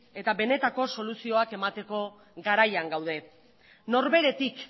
eta benetako soluzioak emateko garaian gaude norberetik